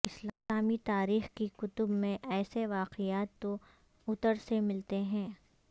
اسلامی تاریخ کی کتب میں ایسے واقعات تواترسے ملتے ہیں